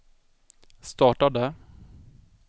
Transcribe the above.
startade